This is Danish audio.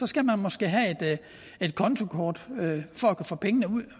skal man måske have et kontokort for at kunne få pengene ud